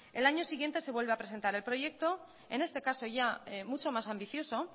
el año siguiente se vuelve a presentar el proyecto en este caso ya mucho más ambicioso